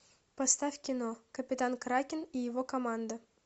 поставь кино капитан кракен и его команда